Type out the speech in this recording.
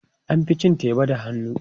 An fi cin teba da hannu.